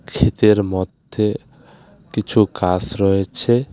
ক্ষেতের মধ্যে কিছু গাস রয়েছে.